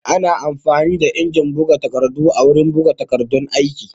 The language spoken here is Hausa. Ana amfani da injin buga takardu wurin buga takardun aiki